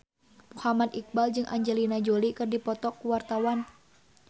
Muhammad Iqbal jeung Angelina Jolie keur dipoto ku wartawan